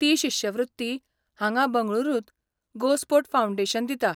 ती शिश्यवृत्ती हांगा बंगळुरूंत गोस्पोर्ट फाऊंडेशन दिता.